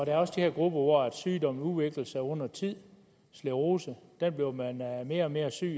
er også de her grupper hvis sygdom udvikler sig over tid sklerose bliver man mere mere og mere syg